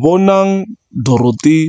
Bonang Dorothy